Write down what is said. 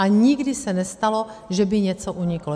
A nikdy se nestalo, že by něco uniklo.